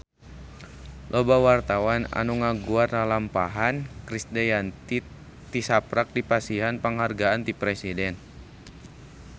Loba wartawan anu ngaguar lalampahan Krisdayanti tisaprak dipasihan panghargaan ti Presiden